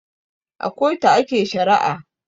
A kotu ake shari'a